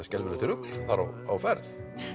skelfilegt rugl á ferð